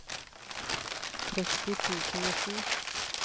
tretti tusen og sju